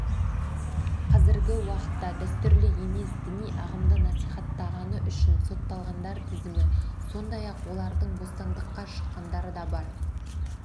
қазіргі уақытта дәстүрлі емес діни ағымды насихаттағаны үшін сотталғандар тізімі сондай-ақ олардың бостандыққа шыққандары да бар